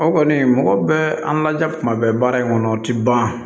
O kɔni mɔgɔ bɛ an ladiya kuma bɛɛ baara in kɔnɔ o ti ban